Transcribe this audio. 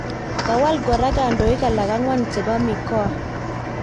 Kawal kora kandoik alak angwan cbepo mikoa